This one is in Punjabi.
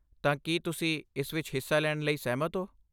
ਤਾਂ, ਕੀ ਤੁਸੀਂ ਇਸ ਵਿੱਚ ਹਿੱਸਾ ਲੈਣ ਲਈ ਸਹਿਮਤ ਹੋ?